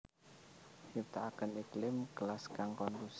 Nyiptakaken iklim kelas kang kondusif